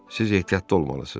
Siz ehtiyatlı olmalısınız.